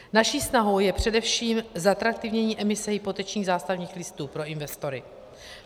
Naší snahou je především zatraktivnění emise hypotečních zástavních listů pro investory.